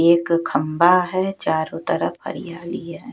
एक खंभा है चारों तरफ हरियाली है।